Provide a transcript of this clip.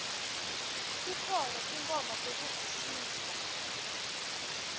tikhona tinkhomba tekuvisisa